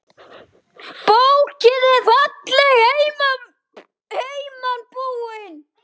Bókin er fallega heiman búin.